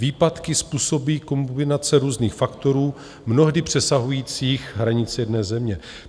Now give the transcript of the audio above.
Výpadky způsobují kombinace různých faktorů, mnohdy přesahujících hranice jedné země.